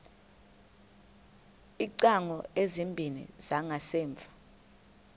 iingcango ezimbini zangasemva